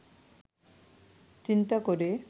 চিন্তা করে